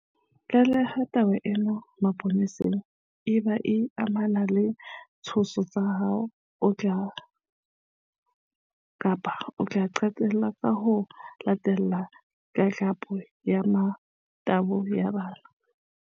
Tlaleha taba ena mapoleseng ebang e amana le ditshoso tsa ho otla kapa ho qhekella, ho latella le tlatlapo ya motabo ya bana.